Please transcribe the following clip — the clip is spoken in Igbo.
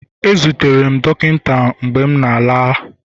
ezutere m dọkịta mgbe m na-ala